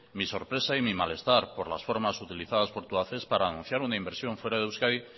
mi sorpresa y mi malestar por las formas utilizadas por tubacex para anunciar una inversión fuera de euskadi